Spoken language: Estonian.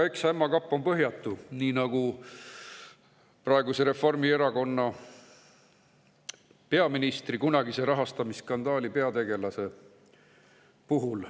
Eks ämma kapp ole põhjatu nii nagu praeguse Reformierakonna peaministri kunagise rahastamisskandaali peategelase puhul.